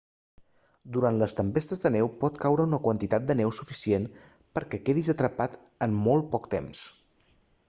durant les tempestes de neu pot caure una quantitat de neu suficient per a que quedis atrapat en molt poc temps